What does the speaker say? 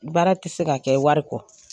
Baara ti se ka kɛ wari kɔ.